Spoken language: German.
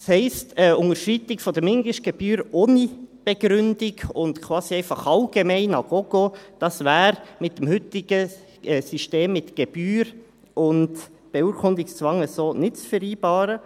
Das heisst: Eine Unterschreitung der Mindestgebühr ohne Begründung und quasi einfach allgemein à gogo wäre mit dem heutigen System mit Gebühr und Beurkundungszwang so nicht zu vereinbaren.